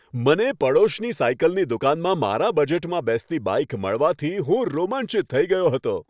મને પડોશની સાઇકલની દુકાનમાં મારા બજેટમાં બેસતી બાઇક મળવાથી હું રોમાંચિત થઈ ગયો હતો.